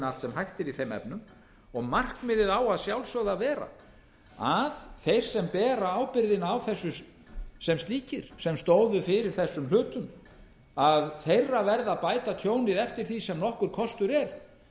allt sem hægt er í þeim efnum og markmiðið á að sjálfsögðu að vera að þeir sem bera ábyrgðina á þessu sem slíkir sem stóðu fyrir þessum hlutum að þeirra verði að bæta tjónið eftir því sem nokkur kostur er